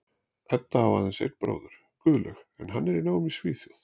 Edda á aðeins einn bróður, Guðlaug, en hann er í námi í Svíþjóð.